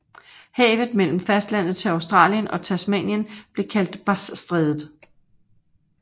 Havet mellem fastlandet til Australien og Tasmanien blev kaldt Bassstrædet